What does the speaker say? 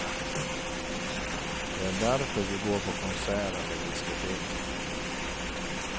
Det är därför vi går på konsert eller diskotek.